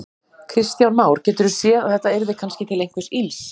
Kristján Már: Geturðu séð að þetta yrði kannski til einhvers ills?